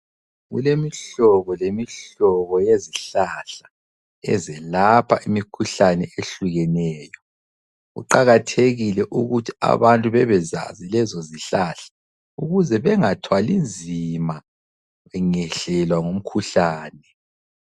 Kulemihlobo lemihlobo yezihlahla ezilapha imikhuhlane ehlukeneyo. Kuqakathekile ukuthi abantu bebezazi lezo zihlahla ukuze bengathwalinzima bengehlelwa ngumkhuhlane.